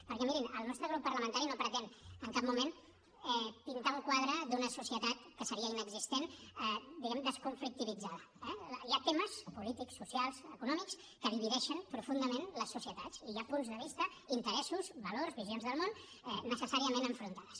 perquè mirin el nostre grup parlamentari no pretén en cap moment pintar un quadre d’una societat que seria inexistent diguem ne desconflictivitzada eh hi ha temes polítics socials econòmics que divideixen profundament les societats i hi ha punts de vista interessos valors visions del món necessàriament enfrontats